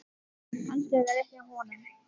Kannski er þetta rétt hjá honum.